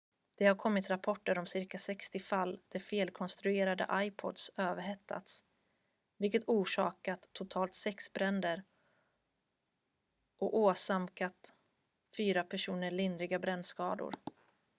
det har kommit rapporter om cirka 60 fall där felkonstruerade ipods överhettats vilket orsakat totalt sex bränder och åsamkat fyra personer lindriga brännskador